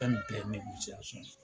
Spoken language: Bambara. Fɛn bɛɛ